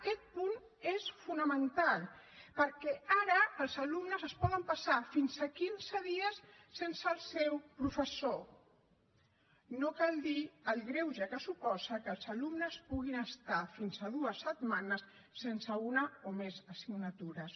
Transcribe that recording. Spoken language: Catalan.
aquest punt és fonamental perquè ara els alumnes es poden passar fins a quinze dies sense el seu professor no cal dir el greuge que suposa que els alumnes puguin estar fins a dues setmanes sense una o més assignatures